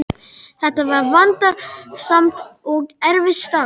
Þetta var vandasamt og erfitt starf.